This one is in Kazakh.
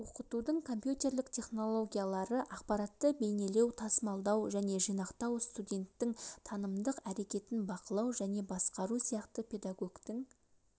оқытудың компьютерлік технологиялары ақпаратты бейнелеу тасымалдау және жинақтау студенттің танымдық әрекетін бақылау және басқару сияқты педагогтің